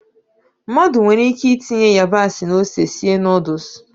Mmadụ nwere ike itinye ịyabasị na ose sie nọdụs.